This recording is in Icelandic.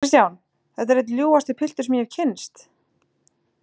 KRISTJÁN: Þetta er einn ljúfasti piltur sem ég hef kynnst.